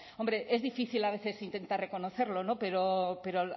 hombre es difícil a veces intentar reconocerlo pero